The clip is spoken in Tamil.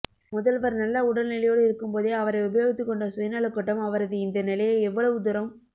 முதல்வர் நல்ல உடல்நிலையோடு இருக்கும்போதே அவரை உபயோகித்துக்கொண்ட சுயநலக் கூட்டம் அவரது இந்த நிலையை எவ்வளவு தூரம்